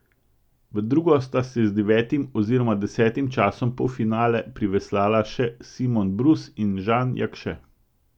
V drugo sta si z devetim oziroma desetim časom polfinale priveslala še Simon Brus in Žan Jakše.